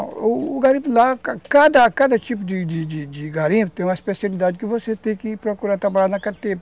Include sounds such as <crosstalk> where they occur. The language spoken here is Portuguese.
O garimpo lá, cada cada tipo de de de de garimpo tem uma especialidade que você tem que ir procurar trabalhar <unintelligible>